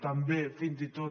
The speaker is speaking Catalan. també fins i tot